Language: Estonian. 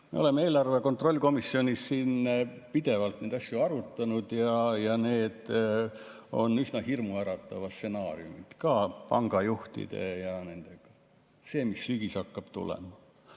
Me oleme eelarve kontrolli komisjonis siin pidevalt neid asju arutanud ja need on üsna hirmuäratavad stsenaariumid, ka pangajuhtide ja nende – see, mis sügisel hakkab tulema.